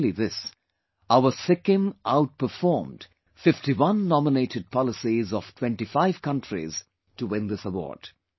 Not only this, our Sikkim outperformed 51 nominated policies of 25 countries to win this award